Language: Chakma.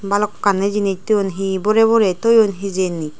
bhalokkani jinich thoyun he he borey borey thoyun hijeni.